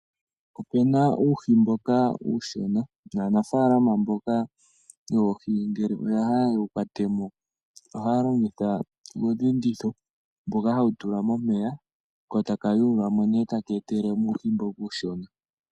Opu na uuhi mboka uushona. Aanafaalama mboka yoohi ngele ya hala ye wu kwate mo ohaa longitha uudhinditho mboka hawu tulwa momeya, wo tawu yuulwa mo tawu etelele mo uuhi mboka uushona.